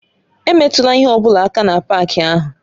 Emetụla ihe ọ bụla aka na páaki ahụ!